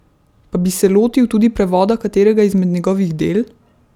Pa bi se lotil tudi prevoda katerega izmed njegovih del?